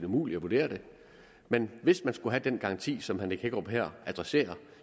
umuligt at vurdere det men hvis man skulle have den garanti som herre nick hækkerup her adresserer